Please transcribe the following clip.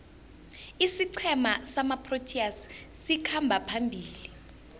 isiqhema samaproteas sikhamba phambili